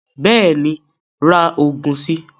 Bẹ́ẹ̀ni ra oògùn si